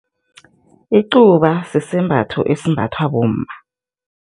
Icuba sisembatho esimbathwa bomma.